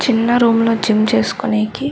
చిన్న రూమ్ లో జిమ్ చేసుకునేకి --